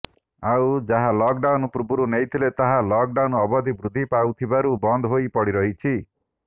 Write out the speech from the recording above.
ଆଉ ଯାହା ଲକଡାଉନ ପୂର୍ବରୁ ନେଇଥିଲେ ତାହା ଲକଡାଉନ ଅବଧି ବୃଦ୍ଧି ପାଉଥିବାରୁ ବନ୍ଦ ହୋଇ ପଡି ରହିଛି